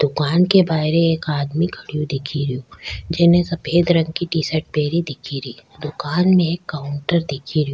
दुकान के बाहर एक आदमी खड़ा दिख रो जीने सफ़ेद रंग की टी-शर्ट पहनी दिख री दुकान में काउंटर दिख रो।